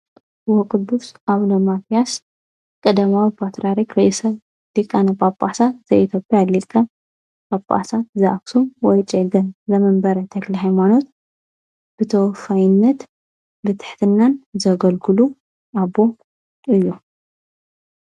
ወ ቕዱስ ኣብነ ማትያስ ቀደማዊ ሰ ድቃነ ጳጳሳት ዘኤቶዮጴያ ኣሊልቀ ጳጳሳት ዝኣክሡም ወይ ጨገን ዘመንበረ ተክለሃይማኖት ብተወፋይነት ብትሕትናን ዘገልግሉ ኣቦ እዩ።